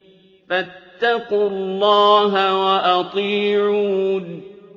فَاتَّقُوا اللَّهَ وَأَطِيعُونِ